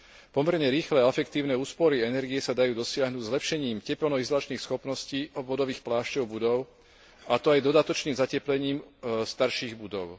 Pomerne rýchle a efektívne úspory energie sa dajú dosiahnuť zlepšením tepelno izolačných schopností obvodových plášťov budov, a to aj dodatočným zateplením starších budov.